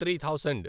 three thousand